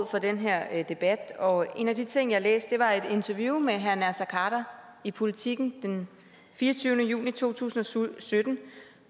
for den her debat og en af de ting jeg har læst var et interview med herre naser khader i politiken den fireogtyvende juni to tusind og sytten